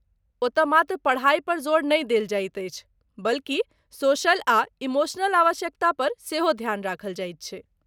ओतय मात्र पढ़ाई पर जोर नहि देल जाइत अछि बल्कि सोशल आ इमोशनल आवश्यकता पर सेहो ध्यान राखल जाइत छै।